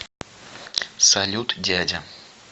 салют дядя